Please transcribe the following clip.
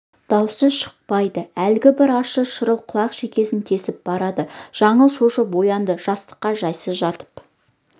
дауысы шықпайды әлгі бір ащы шырыл құлақ шекесін тесіп барады жаңыл шошып оянды жастыққа жайсыз жатып